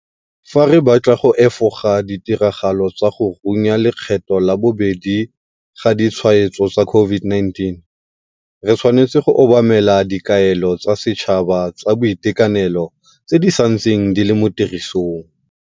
Fa re batla go efoga ditiragalo tsa go runya lekgetlo la bobedi ga ditshwaetso tsa COVID-19, re tshwanetse go obamela dikaelo tsa setšhaba tsa boitekanelo tse di santseng di le mo tirisong.